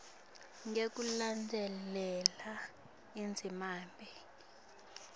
ngekulandzela indzima b